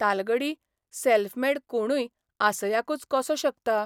तालगडी self made कोणूय आसयाकूच कसो शकता?